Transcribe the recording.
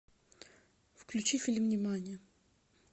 включи фильм нимани